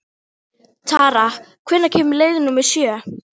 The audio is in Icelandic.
Tara, hvenær kemur leið númer sjö?